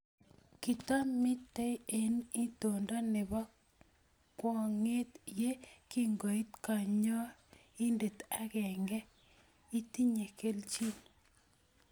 Kitomitei eng itondo nebo kwong'et ye kingoit kanyoindet agenege, "Itinye kelchin".